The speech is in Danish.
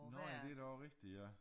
Nå ja det da også rigtig ja